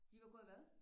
De var gået hvad?